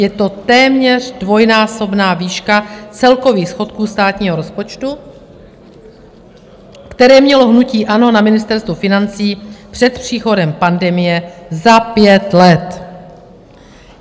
Je to téměř dvojnásobná výška celkových schodků státního rozpočtu, které mělo hnutí ANO na Ministerstvu financí před příchodem pandemie za pět let.